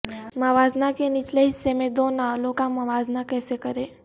موازنہ کے نچلے حصے میں دو ناولوں کا موازنہ کیسے کریں